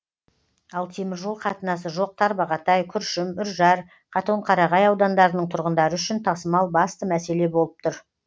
ал теміржол қатынасы жоқ тарбағатай күршім үржар катонқарағай аудандарының тұрғындары үшін тасымал басты мәселе болып тұр